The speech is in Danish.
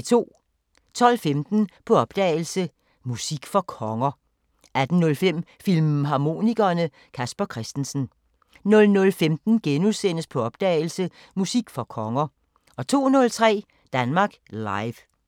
12:15: På opdagelse – Musik for konger 18:05: Filmharmonikerne: Casper Christensen 00:15: På opdagelse – Musik for konger * 02:03: Danmark Live